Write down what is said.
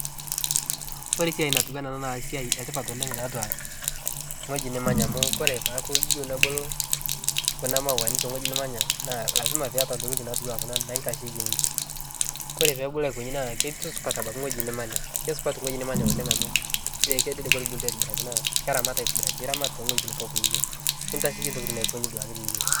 Kore siai natuwana ana naa siai etipat oleng' taatwa ng'oji nimanya amu kore peaku iyeu nebulu kuna mauwani teng'oji nimanya naa lasima piiyata ntokitin natuwaa kuna naitasheyie ninche, kore peebulu aikonyi naa ketusupat abaki ng'oji nimanya kesupatu ng'oji nimanya amu ekedede ketubulutwa aitibiraki naa keramat aitibiraki iramat teng'ojiti pooki niyieu nitasheiyie ntokitin aikonyi duake tiniyeu.